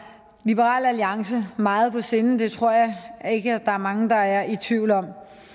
liberal alliance meget på sinde det tror jeg ikke at der er mange der er i tvivl om